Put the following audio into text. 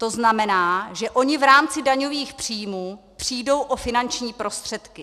To znamená, že oni v rámci daňových příjmů přijdou o finanční prostředky.